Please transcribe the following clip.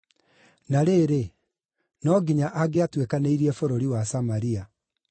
Na rĩrĩ, no nginya angĩatuĩkanĩirie bũrũri wa Samaria.